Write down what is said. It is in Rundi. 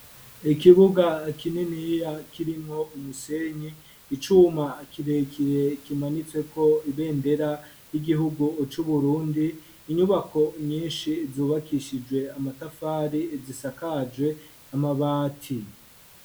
Ikibuga kininiya kirimwo umusenyi icuma akirekire kimanitsweko ibendera y'igihugu c'uburundi inyubako nyinshi zubakishijwe amatafari zisakajwe amabati.